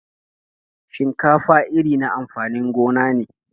Shinkafa iri na amfanin gona ne.